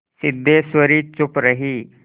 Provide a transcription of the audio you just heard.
सिद्धेश्वरी चुप रही